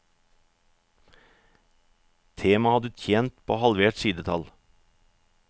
Temaet hadde tjent på halvert sidetall.